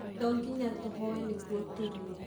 to nginya tũhooe nĩguo tũrĩe.